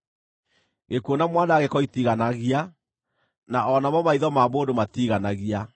Gĩkuũ na Mwanangĩko itiiganagia, na o namo maitho ma mũndũ matiiganagia.